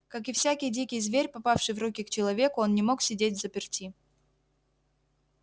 как и всякий дикий зверь попавший в руки к человеку он не мог сидеть взаперти